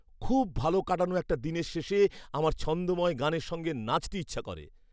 খুব ভালো কাটানো একটা দিনের শেষে আমার ছন্দোময় গানের সঙ্গে নাচতে ইচ্ছে করে!